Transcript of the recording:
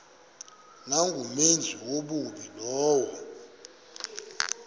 nangumenzi wobubi lowo